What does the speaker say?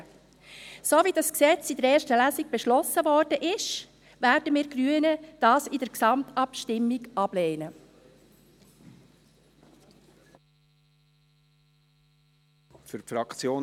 So wie das Gesetz in der ersten Lesung beschlossen worden ist, werden wir Grünen es in der Gesamtabstimmung ablehnen.